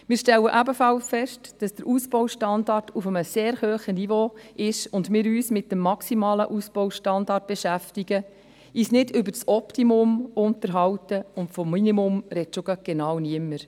Wir stellen ebenfalls fest, dass der Ausbaustandard auf einem sehr hohen Niveau ist und wir uns mit dem maximalen Ausbaustandard beschäftigen, uns nicht über das Optimum unterhalten, und vom Minimum spricht genau niemand.